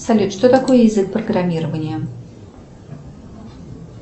салют что такое язык программирования